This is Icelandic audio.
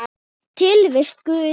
Tilvist Guðs